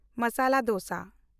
masala dosa